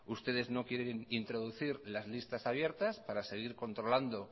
ustedes no quieren introducir las listas abiertas para seguir controlando